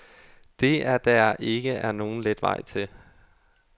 Det er der ikke er nogen let vej til.